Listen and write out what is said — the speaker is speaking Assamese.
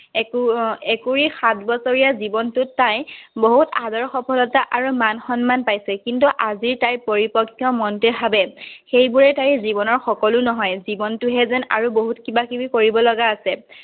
একুৰি সাত বছৰীয়া জীৱনটোত তাই বহুত আদৰ সফলতা আৰু মান-সন্মান পাইছে, কিন্তু, আজি তাইৰ পৰিপক্ক মনটোৱে ভাৱে, সেইবোৰেই তাইৰ জীৱনৰ সকলো নহয়, জীৱনটো যেন আৰু বহুত কিবা-কিবি কৰিব লগা আছে।